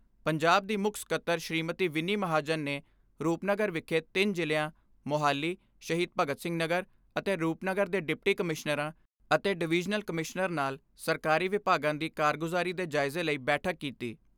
ਪੰਜਾਬ ਦੀ ਮੁੱਖ ਸਕੱਤਰ ਸ਼ੀਮਤੀ ਵਿੰਨੀ ਮਹਾਜਨ ਨੇ ਰੁਪਨਗਰ ਵਿਖੇ ਤਿੰਨ ਜ਼ਿਲ਼ਿਆਂ ਮੋਹਾਲੀ, ਸ਼ਹੀਦ ਭਗਤ ਸਿੰਘ ਨਗਰ ਅਤੇ ਰੁਪਨਗਰ ਦੇ ਡਿਪਟੀ ਕਮਿਸ਼ਨਰਾਂ ਅਤੇ ਡਵੀਜਨਲ ਕਮਿਸ਼ਨਰ ਨਾਲ ਸਰਕਾਰੀ ਵਿਭਾਗਾਂ ਦੀ ਕਾਰਗੁਜਾਰੀ ਦੇ ਜਾਇਜ਼ੇ ਲਈ ਬੈਠਕ ਕੀਤੀ।